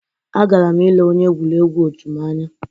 Agara m ile onye egwuregwu otu m anya